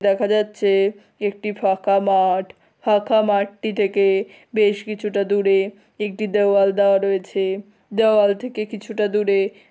দেখা যাচ্ছে একটি ফাঁকা মাঠ ফাঁকা মাঠটি থেকে বেশ কিছুটা দূরে একটি দেওয়াল দেওয়া রয়েছে। দেওয়াল থেকে কিছুটা দূরে --